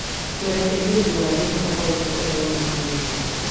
Tũrekere nĩ ũndũ wa thĩna o wothe ũrĩa wonekete.